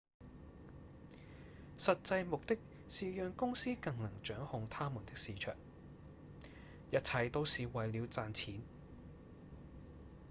實際目的是讓公司更能掌控他們的市場；一切都是為了賺錢